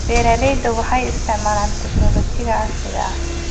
Beeralayda waxay isticmaalaan tignoolajiyada casriga ah.